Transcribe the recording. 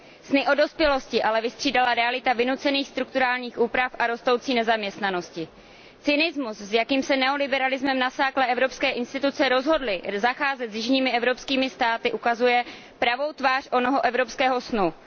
Sny o dospělosti ale vystřídala realita vynucených strukturálních úprav a rostoucí nezaměstnanosti. Cynismus, s jakým se neoliberalismem nasáklé evropské instituce rozhodly zacházet s jižními evropskými státy, ukazuje pravou tvář onoho evropského snu.